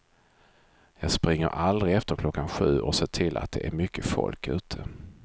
Jag springer aldrig efter klockan sju och ser till att det är mycket folk ute.